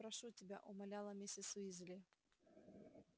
не надо прошу тебя умоляла миссис уизли